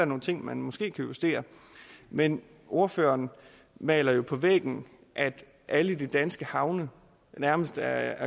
nogle ting man måske kan justere men ordføreren maler jo på væggen at alle de danske havne nærmest er